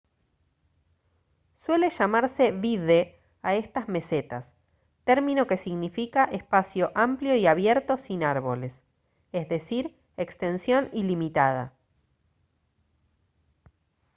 suele llamarse vidde a estas mesetas término que significa espacio amplio y abierto sin árboles es decir extensión ilimitada